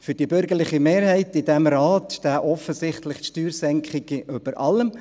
Für die bürgerliche Mehrheit in diesem Rat stehen offensichtlich Steuersenkungen über allem.